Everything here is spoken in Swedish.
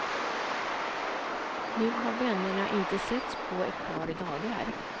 Nu har vännerna inte setts på ett par dagar.